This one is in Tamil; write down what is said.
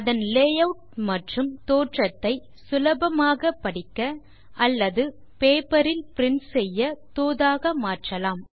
அதன் லேயூட் மற்றும் தோற்றத்தை சுலபமாக படிக்க அல்லது பேப்பர் இல் பிரின்ட் செய்ய தோதாக மாற்றலாம்